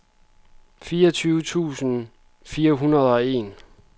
fireogtyve tusind fire hundrede og en